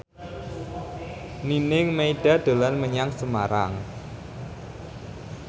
Nining Meida dolan menyang Semarang